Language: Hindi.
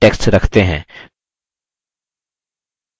callouts में text रखते हैं